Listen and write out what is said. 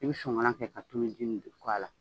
I bɛ sonkalan kɛ ka tuluji nin a la